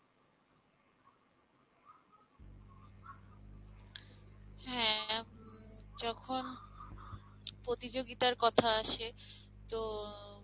হ্যাঁঁ যখন প্রতিযোগিতার কথা আসে তো